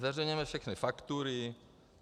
Zveřejňujeme všechny faktury.